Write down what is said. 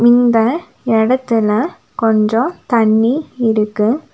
இந்த இடத்தில கொஞ்சம் தண்ணி இருக்கு.